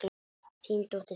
Þín dóttir, Sif.